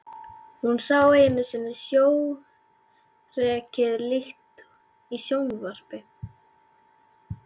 Hún sá einu sinni sjórekið lík í sjónvarpi.